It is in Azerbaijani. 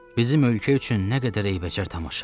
Bizim ölkə üçün nə qədər eybəcər tamaşa.